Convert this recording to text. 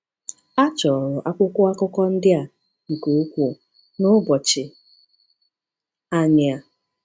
A chọrọ akwụkwọ akụkọ ndị a nke ukwuu n’ụbọchị anyị a.